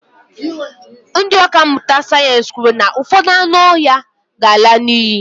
ndị ọkà mmụta sayensị kwuru na ụfọdụ anụ ọhịa ga-ala n'iyi